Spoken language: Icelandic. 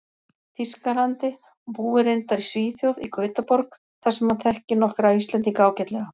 Þýskalandi, og búi reyndar í Svíþjóð, í Gautaborg, þar sem hann þekki nokkra Íslendinga ágætlega.